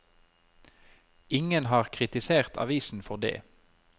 Ingen har kritisert avisen for dét.